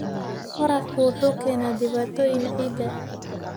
Waraabku wuxuu keenaa dhibaatooyin ciidda.